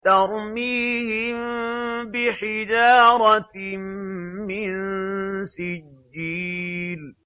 تَرْمِيهِم بِحِجَارَةٍ مِّن سِجِّيلٍ